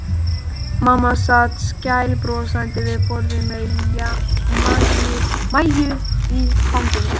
Mamma sat skælbrosandi við borðið með Maju í fanginu.